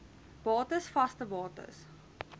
bates vaste bates